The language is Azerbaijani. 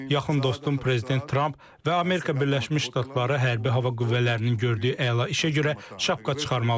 Yaxın dostum Prezident Tramp və Amerika Birləşmiş Ştatları Hərbi Hava Qüvvələrinin gördüyü əla işə görə şapka çıxarmalıyıq.